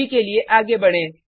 अभी के लिए आगे बढें